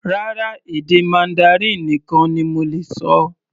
Rárá, èdè Mandarin nìkan ni mo lè ṣọ.